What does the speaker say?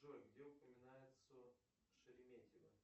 джой где упоминается шереметьево